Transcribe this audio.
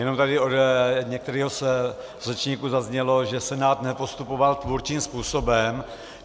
Jenom tady od některého z řečníků zaznělo, že Senát nepostupoval tvůrčím způsobem.